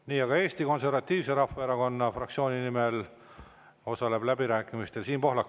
Nii, aga Eesti Konservatiivse Rahvaerakonna fraktsiooni nimel osaleb läbirääkimistel Siim Pohlak.